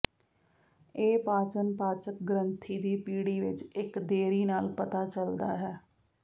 ਇਹ ਪਾਚਨ ਪਾਚਕ ਗ੍ਰੰਥੀ ਦੀ ਪੀੜ੍ਹੀ ਵਿਚ ਇਕ ਦੇਰੀ ਨਾਲ ਪਤਾ ਚੱਲਦਾ ਹੈ